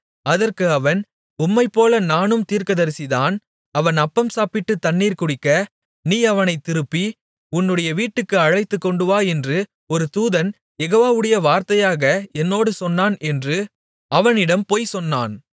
அதற்கு அவன் உம்மைப்போல நானும் தீர்க்கதரிசிதான் அவன் அப்பம் சாப்பிட்டுத் தண்ணீர் குடிக்க நீ அவனைத் திருப்பி உன்னுடைய வீட்டுக்கு அழைத்துக் கொண்டுவா என்று ஒரு தூதன் யெகோவாவுடைய வார்த்தையாக என்னோடு சொன்னான் என்று அவனிடம் பொய் சொன்னான்